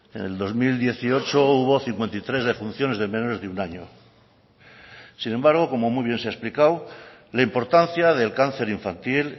en el dos mil dieciocho hubo cincuenta y tres defunciones de menores de un año sin embargo como muy bien se ha explicado la importancia del cáncer infantil